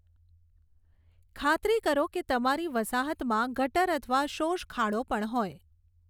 ખાતરી કરો કે તમારી વસાહતમાં ગટર અથવા શોષખાડો પણ હોય.